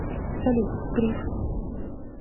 салют прив